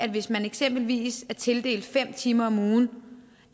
hvis man eksempelvis er tildelt fem timer om ugen